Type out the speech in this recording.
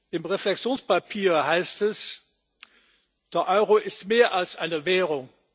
Im Reflexionspapier heißt es Der Euro ist mehr als eine Währung.